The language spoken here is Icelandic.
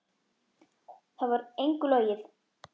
Þar var engu logið.